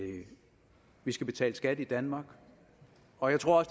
vi skal betale skat i danmark og jeg tror